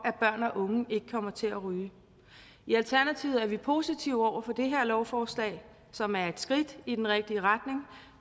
og unge ikke kommer til at ryge i alternativet er vi positive over for det her lovforslag som er et skridt i den rigtige retning